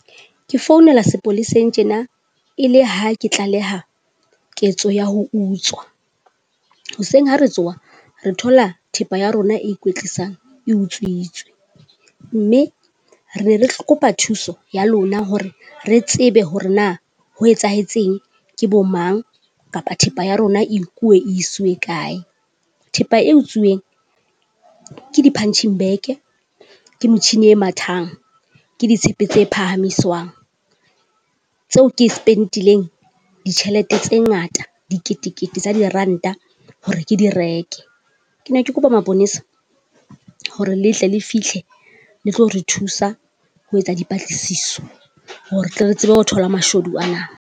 Ke founela sepolesng tjena e le ha ke tlaleha ketso ya ho utswa. Hoseng ha re tsoha re thola thepa ya rona e ikwetlisang e utswitswe, mme re re kopa thuso ya lona hore re tsebe hore na, ho etsahetseng? Ke bo mang? Kapa thepa ya rona e nkuwe e kae? Thepa e otsiweng ke di-punching bag, ke motjhini e mathang, ke ditshepe tse phahamiswang tseo ke spend-ileng ditjhelete tse ngata diketekete tsa diranta hore ke di reke. Ke ne ke kopa maponesa hore le tle le fihle le tlo re thusa ho etsa dipatlisiso hore re tsebe ho thola mashodu ana.